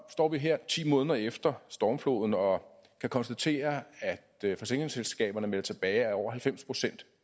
står vi her ti måneder efter stormfloden og kan konstatere at forsikringsselskaberne melder tilbage at over halvfems procent